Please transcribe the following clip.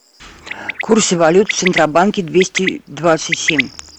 курсы валют в центробанке двести двадцать семь